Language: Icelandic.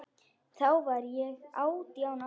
Þá var ég átján ára.